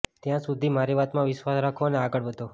ત્યાં સુધી મારી વાતમાં વિશ્વાસ રાખો અને આગળ વધો